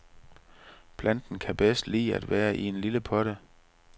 Planten kan bedst lide at være i en lille potte.